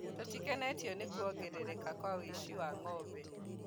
tũtikenetio nĩ kuongerereka kwa ũici wa ng’ombe.